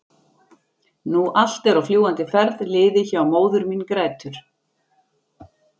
nú allt er á fljúgandi ferð liðið hjá- og móðir mín grætur.